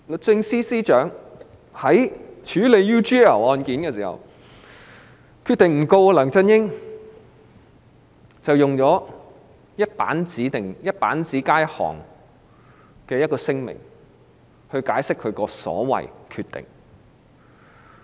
在處理 UGL 案件時，律政司司長決定不檢控梁振英，並發出只有一頁紙的簡短聲明來解釋所謂的"決定"。